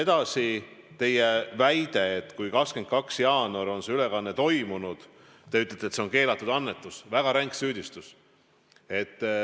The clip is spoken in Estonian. Edasi, teie väide, et kui 22. jaanuaril on see ülekanne toimunud, siis see on keelatud annetus – väga ränk süüdistus.